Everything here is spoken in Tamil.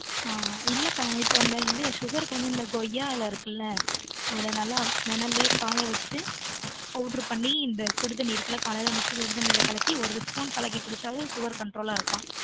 ஆன் இல்லக்கா இப்ப இந்த sugar க்கு வந்து கொய்யா இலை இருக்குல அத நல்ல நிழலயே காய வச்சுட்டு powder பன்னி இந்த சுடுதண்ணி இருக்குல காலைல அந்த சுடுதண்ணி இருக்குலஒரு spoon கலக்கி குடிச்சாலே sugarcontrol ஆ இருக்கான்